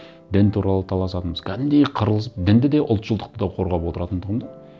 дін туралы таласатынбыз кәдімгідей қырылысып дінді де ұлтшылдықты да қорғап отыратын тұғым да